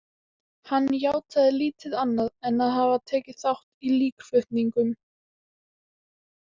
Hann játaði lítið annað en að hafa tekið þátt í líkflutningum.